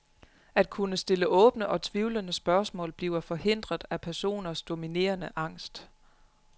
At kunne stille åbne og tvivlende spørgsmål bliver forhindret af personens dominerende angst.